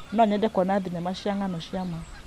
No nyende kuona thenema cia ng'ano cia ma.